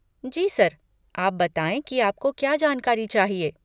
जी sir! आप बताएँ कि आप को क्या जानकारी चाहिए?